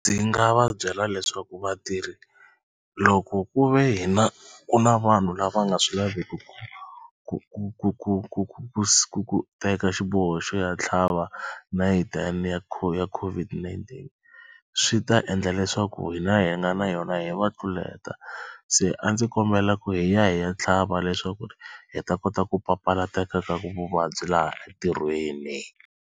Ndzi nga va byela leswaku vatirhi loko ku ve hi na ku na vanhu lava nga swi laveki ku ku ku ku ku ku ku teka xiboho xo ya tlhava nayiti ya ya COVID-19 swi ta endla leswaku hina hi nga na yona hi va tluleta. Se a ndzi kombela ku hi ya hi ya tlhava leswaku hi ta kota ku papalateka ka vuvabyi laha entirhweni.